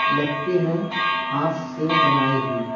लगती है हाथ से बनाई हुई।